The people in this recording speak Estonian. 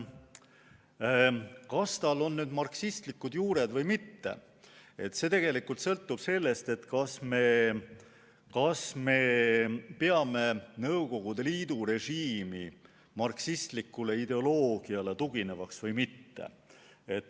See, kas tal on marksistlikud juured või mitte, sõltub tegelikult sellest, kas me peame Nõukogude Liidu režiimi marksistlikule ideoloogiale tuginevaks või mitte.